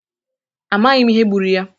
Amaghị m ihe gbụrụ ya.